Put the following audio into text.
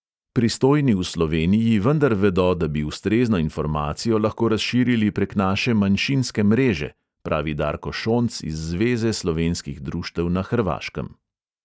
Pristojni v sloveniji vendar vedo, da bi ustrezno informacijo lahko razširili prek naše manjšinske mreže," pravi darko šonc iz zveze slovenskih društev na hrvaškem.